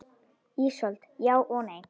Ísold: Já og nei.